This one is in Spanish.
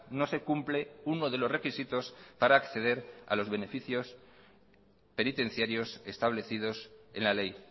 no se cumple uno de los requisitos para acceder a los beneficios penitenciarios establecidos en la ley